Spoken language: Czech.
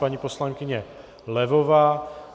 Paní poslankyně Levová.